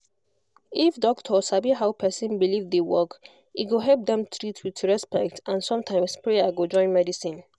if doctor sabi how person belief dey work e go help dem treat with respect and sometimes prayer go join medicine